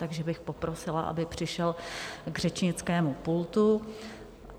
Takže bych poprosila, aby přišel k řečnickému pultu.